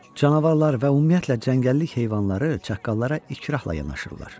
Canavarlar və ümumiyyətlə cəngəllik heyvanları çaqqallara ikrahla yanaşırlar.